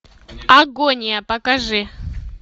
агония покажи